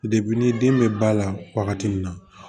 ni den bɛ ba la wagati min na